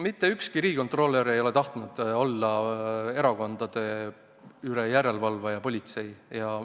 Mitte ükski riigikontrolör ei ole tahtnud olla erakondade üle järele valvav politsei.